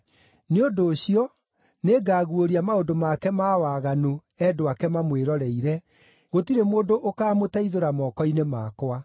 Nĩ ũndũ ũcio, nĩngaguũria maũndũ make ma waganu endwa ake mamwĩroreire; gũtirĩ mũndũ ũkaamũteithũra moko-inĩ makwa.